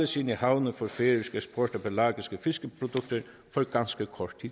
sine havne for færøsk eksport af pelagiske fiskeprodukter for ganske kort